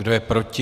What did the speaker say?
Kdo je proti?